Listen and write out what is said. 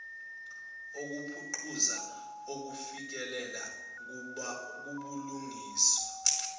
ukuphucuza ukufikelela kubulungiswa